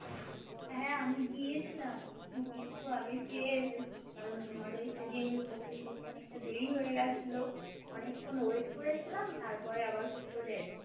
হা আমি গিয়েছিলাম কিন্তু আমি ফিরে এসেছি কারণ তোমাদের সেদিন Open করতে অনেকটা দেরি হয়েগেছিলো অনেকক্ষণ Wait করেছিলাম তারপর আবার সে চলে এসেছি